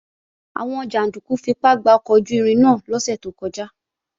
Àwọn jàndúkú fipá gba ọkọ̀ ojú-irin náà lọ́sẹ̀ tó kọjá